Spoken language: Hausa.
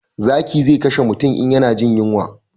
Zaki zai kashe mutum in ya na jin yunwa